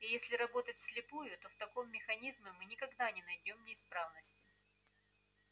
и если работать вслепую то в таком механизме мы никогда не найдём неисправности